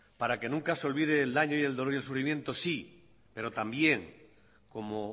para que nunca se olvide el daño y el dolor y el sufrimiento sí pero también como